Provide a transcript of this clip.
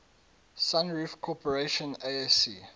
sunroof corporation asc